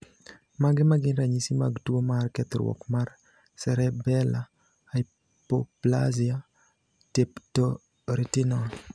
Mage magin ranyisi mag tuo mar kethruok mar Cerebellar hypoplasia tapetoretinal?